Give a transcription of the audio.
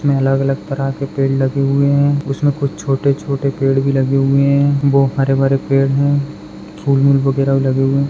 उसमे अलग-अलग तरह के पेड़ लगे हुए है उसमे कुछ छोटे-छोटे पेड़ भी लगे हुए है बहुत हरे बरे पेड़ है वैगेरे लगे हुए है।